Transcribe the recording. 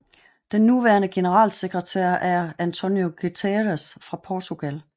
Den nuværende generalsekretær er António Guterres fra Portugal